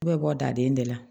Bɛɛ bɛ bɔ daden de la